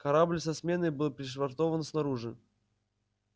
корабль со сменой был пришвартован снаружи